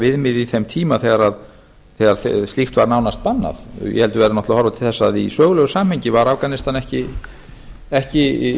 viðmið í þeim tíma þegar slíkt var nánast bannað ég held að við verðum náttúrlega að horfa til þess að í sögulegu samhengi var afganistan ekki